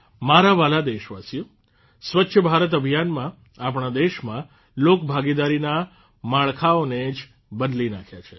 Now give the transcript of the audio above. મારા વ્હાલા દેશવાસીઓ સ્વચ્છ ભારત અભિયાનમાં આપણા દેશમાં લોકભાગીદારીના માળખાઓને જ બદલી નાંખ્યા છે